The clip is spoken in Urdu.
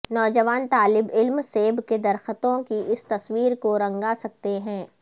نوجوان طالب علم سیب کے درختوں کی اس تصویر کو رنگا سکتے ہیں